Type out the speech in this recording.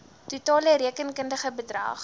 totale rekenkundige bedrag